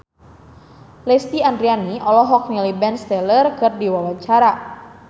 Lesti Andryani olohok ningali Ben Stiller keur diwawancara